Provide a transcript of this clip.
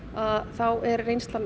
þá er reynslan